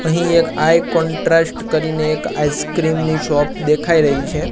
અહીં એક આઈ કોન્ટ્રાસ્ટ કરીને એક આઈસ્ક્રીમ ની શોપ દેખાય રહી છે.